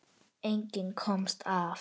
Enginn komst af.